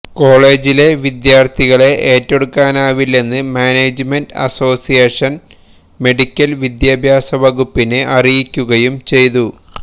കോളേജിലെ വിദ്യാർത്ഥികളെ ഏറ്റെടുക്കാനാവില്ലെന്ന് മാനേജ്മെന്റ് അസോസിയേഷൻ മെഡിക്കൽ വിദ്യാഭ്യാസവകുപ്പിനെ അറിയിക്കുകയും ചെയ്തു